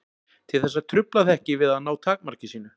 Til þess að trufla það ekki við að ná takmarki sínu.